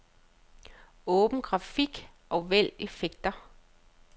Åbn grafik og vælg effekter.